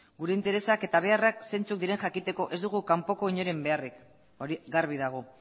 gure interesak eta beharrak zeintzuk diren jakiteko ez dugu kanpoko inoren beharrik hori garbi dago